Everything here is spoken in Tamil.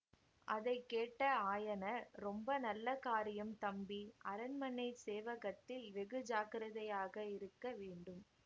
அதை கேட்ட ஆயனர் ரொம்ப நல்ல காரியம் தம்பி அரண்மனை சேவகத்தில் வெகு ஜாக்கிரதையாக இருக்க வேண்டும்